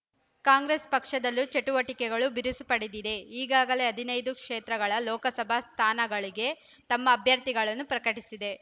ಕಾಂಗ್ರೆಸ್ ಪಕ್ಷದಲ್ಲೂ ಚಟುವಟಿಕೆಗಳು ಬಿರುಸು ಪಡೆದಿದ್ದು ಈಗಾಗಲೇ ಹದಿನೈದು ಕ್ಷೇತ್ರಗಳ ಲೋಕಸಭಾ ಸ್ಥಾನಗಳಿಗೆ ತಮ್ಮ ಅಭ್ಯರ್ಥಿಯನ್ನು ಪ್ರಕಟಿಸಿದೆ